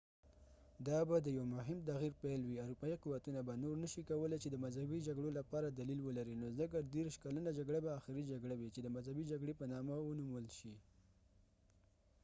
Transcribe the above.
دا به د یو مهم تغیر پیل وي اروپایي قوتونه به نور نشي کولاي چې د مذهبي جګړو لپاره دلیل ولري نو ځکه دیرش کلنه جګړه به آخري جګړه وي چې د مذهبي جګړې په نامه ونومول شي